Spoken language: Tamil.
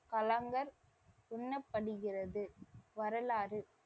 களங்கள் எண்ணபடுகிறது. வரலாறு,